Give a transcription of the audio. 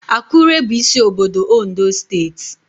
Akure bụ isi obodo Ondo steeti